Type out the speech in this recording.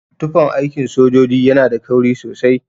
Tufan aikin sojoji yana da kauri sosai.